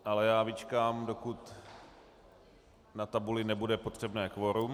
Ale já vyčkám, dokud na tabuli nebude potřebné kvorum.